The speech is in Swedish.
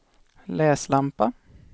läslampa